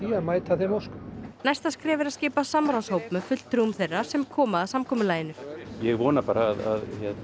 að mæta þeim óskum næsta skref er að skipa samráðshóp með fulltrúum þeirra sem koma að samkomulaginu ég vona bara að